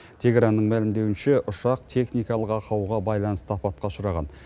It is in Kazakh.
тегеранның мәлімдеуінше ұшақ техникалық ақауға байланысты апатқа ұшыраған